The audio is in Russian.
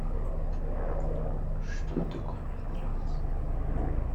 что такое матрас